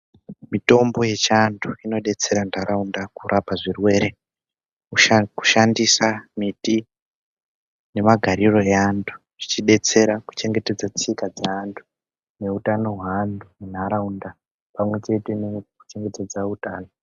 Mitombo yechiantu inodetsera nharaunda kurapa zvirwere. Kusha kushandisa mbiti nemagariro eantu zvichidetsera kuchengetedza tsika dzeantu neutano hweantu munharaunda. Pamwechete nekuchengetedza utano.